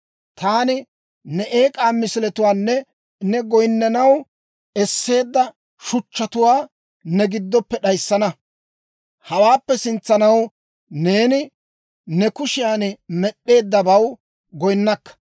Taani ne eek'aa misiletuwaanne ne goyinnanaw esseedda shuchchatuwaa ne giddoppe d'ayissana; hawaappe sintsanaw neeni ne kushiyan med'd'eeddabaw goyinnakka.